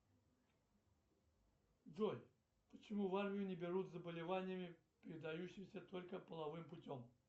джой почему в армию не берут с заболеваниями передающимися только половым путем